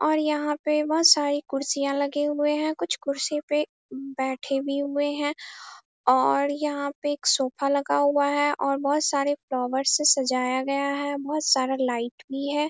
और यहाँ पे बहोत सारी कुर्सियां लगे हुए हैं। कुछ कुर्सी पे बैठे भी हुए है और यहाँ पे एक सोफ़ा लगा हुआ है और बहोत सारे फ्लॉवर से सजाया गया है। बहोत सारा लाइट भी है।